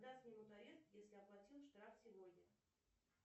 когда снимут арест если оплатил штраф сегодня